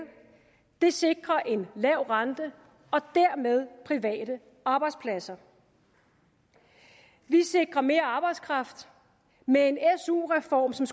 det sikrer en lav rente og dermed private arbejdspladser vi sikrer mere arbejdskraft med en su reform som